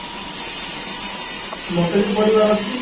ମତେ ବି ପଢ଼ିବାର ଅଛି